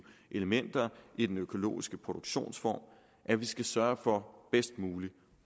elementer i den økologiske produktionsform at vi skal sørge for bedst muligt